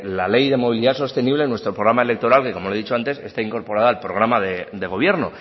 la ley de movilidad sostenible en nuestro programa electoral que como le he dicho antes está incorporada al programa de gobierno